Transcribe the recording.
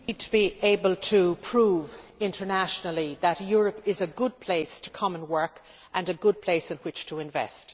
We need to be able to prove internationally that Europe is a good place to come and work and a good place in which to invest.